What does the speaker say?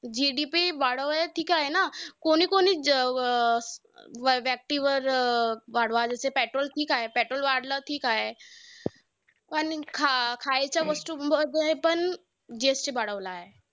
GDP वाढवलाय ठीक आहे ना. कोणी कोणी जे अं वर व्यक्तीवर वाढवलं petrol वर वाढवला petrol वर ठीक आहे. पण खा~ खायच्या वस्तूंवर पण GST वाढवला आहे.